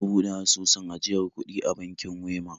Na buɗe asusun ajiyar kuɗi a bankin Wema